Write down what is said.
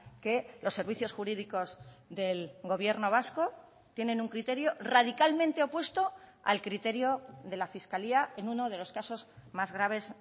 que los servicios jurídicos del gobierno vasco tienen un criterio radicalmente opuesto al criterio de la fiscalía en uno de los casos más graves